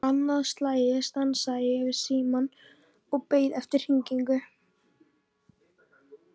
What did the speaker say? Annað slagið stansaði ég við símann og beið eftir hringingu.